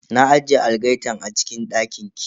Na ajiye algaitan a cikin dakin ki.